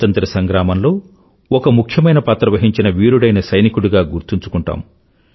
స్వతంత్ర సంగ్రామంలో ఒక ముఖ్యమైన పాత్ర వహించిన వీరుడైన సైనికుడిగా గుర్తుంచుకుంటాము